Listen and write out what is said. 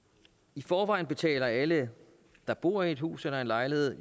i forvejen betaler alle der bor i hus eller lejlighed